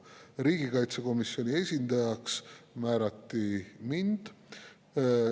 Riigikaitsekomisjoni esindajaks määrati mind.